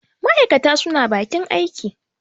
ma' aikata suna bakin aiki